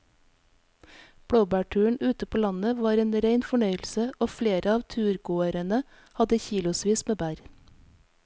Blåbærturen ute på landet var en rein fornøyelse og flere av turgåerene hadde kilosvis med bær.